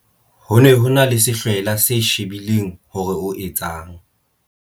Ho ne ho e na le sehlwela se shebile hore o etsang.